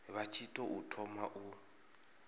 vha tshi tou thoma u